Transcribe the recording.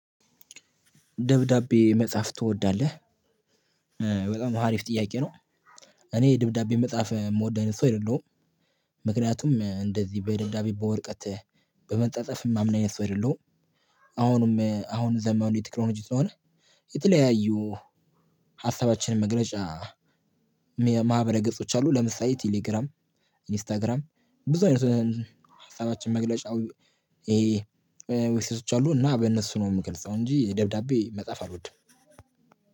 ደብዳቤ መጽሐፍ ትወዳለህ በጣም ሀሪፍ ጥያቄ ነው። እኔ ደብዳቤ መጽሐፍ የምወደ አይነት ሰው አይደለሁም። ምክንያቱም እንደዚህ በደዳቤ በወርቀት በመፃፃፍ የማምን አይነት ሰው አይደለሁም አሁንም ዘመኑ የተክኖሎጂ ስለሆነ። የተለያዩ ሀሳባችንን መግለጫ ማህበረ ገጾች አሉ። ለምሳሌ ቴሌግራም ኢንስታግራም ብዙ አይነት ሀሳባችን መግለጫ። መሴጆች አሉ እና በእነሱ ነው የምገልጸው እንጂ ደብዳቤ መጽሐፍ አልወድም።